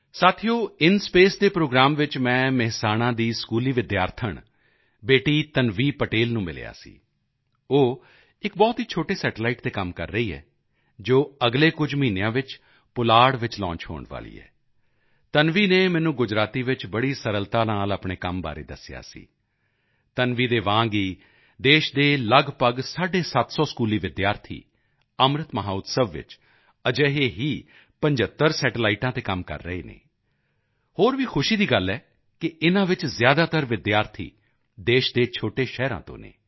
ਸਾਥੀਓ ਇਨਸਪੇਸ ਦੇ ਪ੍ਰੋਗਰਾਮ ਵਿੱਚ ਮੈਂ ਮੇਹਸਾਣਾ ਦੀ ਸਕੂਲੀ ਵਿਦਿਆਰਥਣ ਬੇਟੀ ਤਨਵੀ ਪਟੇਲ ਨੂੰ ਵੀ ਮਿਲਿਆ ਸੀ ਉਹ ਇੱਕ ਬਹੁਤ ਹੀ ਛੋਟੀ ਸੈਟੇਲਾਈਟ ਤੇ ਕੰਮ ਕਰ ਰਹੀ ਹੈ ਜੋ ਅਗਲੇ ਕੁਝ ਮਹੀਨਿਆਂ ਵਿੱਚ ਪੁਲਾੜ ਚ ਲਾਂਚ ਹੋਣ ਵਾਲੀ ਹੈ ਤਨਵੀ ਨੇ ਮੈਨੂੰ ਗੁਜਰਾਤੀ ਵਿੱਚ ਬੜੀ ਸਰਲਤਾ ਨਾਲ ਆਪਣੇ ਕੰਮ ਦੇ ਬਾਰੇ ਦੱਸਿਆ ਸੀ ਤਨਵੀ ਦੇ ਵਾਂਗ ਹੀ ਦੇਸ਼ ਦੇ ਲਗਭਗ ਸਾਢੇ ਸੱਤ ਸੌ ਸਕੂਲੀ ਵਿਦਿਆਰਥੀ ਅੰਮ੍ਰਿਤ ਮਹੋਤਸਵ ਵਿੱਚ ਅਜਿਹੇ ਹੀ 75 ਸੈਟੇਲਾਈਟਾਂ ਤੇ ਕੰਮ ਕਰ ਰਹੇ ਹਨ ਹੋਰ ਵੀ ਖੁਸ਼ੀ ਦੀ ਗੱਲ ਹੈ ਕਿ ਇਨ੍ਹਾਂ ਵਿੱਚ ਜ਼ਿਆਦਾਤਰ ਵਿਦਿਆਰਥੀ ਦੇਸ਼ ਦੇ ਛੋਟੇ ਸ਼ਹਿਰਾਂ ਤੋਂ ਹਨ